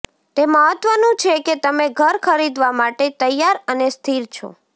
તે મહત્વનું છે કે તમે ઘર ખરીદવા માટે તૈયાર અને સ્થિર છો